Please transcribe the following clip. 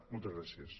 moltes gràcies